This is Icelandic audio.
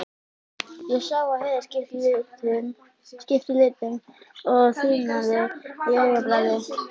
Ég sá að Heiða skipti litum og þiðnaði á augabragði.